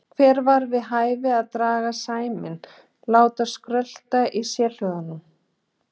Hér var við hæfi að draga seiminn, láta skrölta í sérhljóðunum.